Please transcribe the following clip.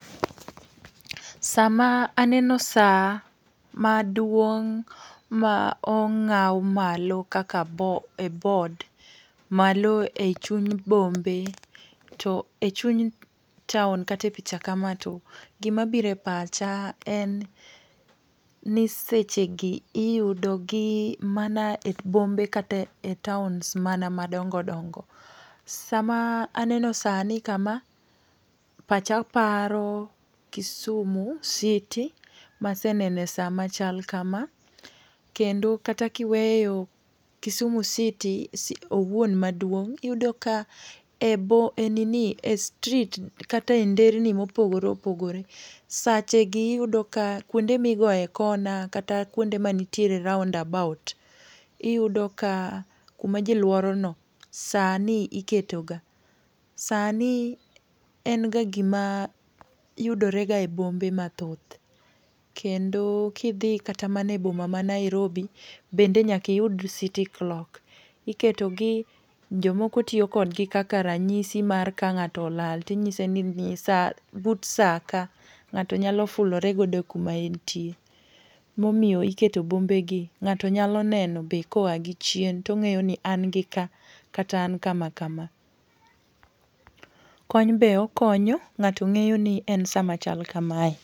Sama aneno sa ma duong' ma ong'aw malo kaka e boardd, malo ei chuny bombe, to e chuny taon kata picha kama to gi mabire pacha en ni sechegi iyudogi mana e bombe kata e towns mana madongo dongo. Sama aneno sani kama pacha paro, Kisumu City ma asenene saa machal kama kendo kata kiweyo Kisumu City owuon maduong', iyudo ka e e nini e street kata e nderni mopogore opogore. Sache gi iyudo ka kuonde migoe corner kata kuonde manitiere roundabout iyudo ka kuma jiluoro no, sani iketoga. Sani en ga gima yudore ga e bombe mathoth. Kendo kidhi kata mane boma ma Nairobi bende nyaka iyud city clock. Iketo gi, jomoko tiyo kodgi kaka ranyisi mar ka ng'ato olal tinyise ni nyisa but saa ka. Ng'ato nyalo fulore godo kuma entie. Momiyo iketo bombegi, ng'ato nyalo neno be koa gi chien to ng'eyo ni an gi ka, kata an kama kama. Kony be okonyo ng'ato ng'eyoni en sa ma chal kamae.